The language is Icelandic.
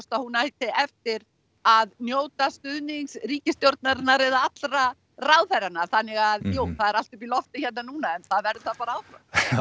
að hún ætti eftir að njóta stuðnings ríkisstjórnarinnar eða allra ráðherranna þannig að jú það er allt upp í lofti hérna núna en það verður það bara áfram